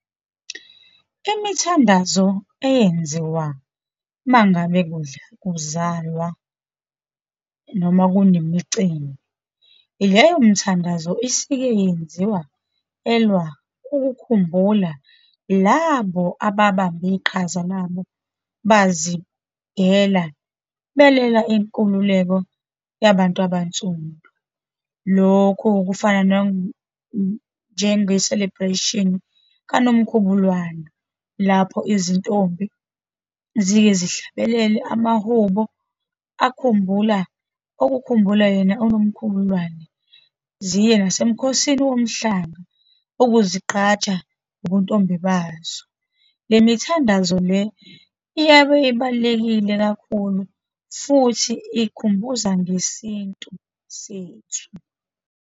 Imithandazo eyenziwa uma ngabe kudla kuzalwa, noma kunemicimbi. Leyo mithandazo isike yenziwa ukukhumbula labo ababamba iqhaza labo, bazidela belwela inkululeko yabantu abansundu. Lokho kufana njenge-celebration kanoMkhubulwane, lapho izintombi zike zihlabelele amahubo akhumbula, okukhumbula yena unoMkhulubulwane, ziye nasemkhosini womhlanga ukuzigqaja ngobuntombi bazo. Le mithandazo le, iyabe ibalulekile kakhulu, futhi ikhumbuza ngesintu sethu.